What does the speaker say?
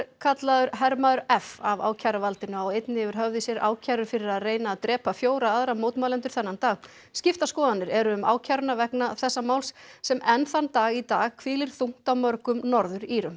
kallaður hermaður f af ákæruvaldinu á einnig yfir höfði sér ákærur fyrir að reyna að drepa fjóra aðra mótmælendur þennan dag skiptar skoðanir eru um ákæruna vegna þessa máls sem enn þann dag í dag hvílir þungt á mörgum Norður Írum